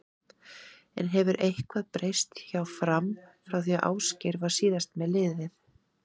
En hefur eitthvað breyst hjá Fram frá því Ásgeir var síðast með liðið?